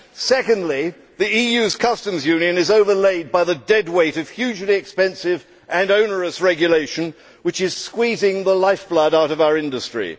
Secondly, the EU's customs union is overlaid by the dead weight of hugely expensive and onerous regulation which is squeezing the lifeblood out of our industry.